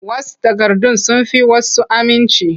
Wash takardun sun fi wasu aminci.